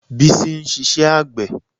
Bísí ń ṣiṣẹ́ àgbẹ̀